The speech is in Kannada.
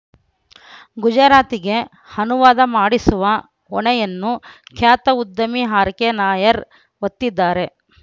ಗುಜರಾತಗೆ ಅನುವಾದ ಮಾಡಿಸುವ ಹೊಣೆಯನ್ನು ಖ್ಯಾತ ಉದ್ಯಮಿ ಅರ್‌ಕೆನಾಯರ್‌ ಹೊತ್ತಿದ್ದಾರೆ